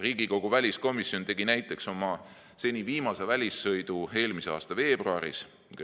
Riigikogu väliskomisjon tegi näiteks oma seni viimase välissõidu eelmise aasta veebruaris.